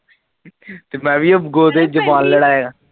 ਤੇ ਮੈ ਵੀ ਅੱਗੋ ਤੇ ਜਵਾਨ ਲੜਾਇਆ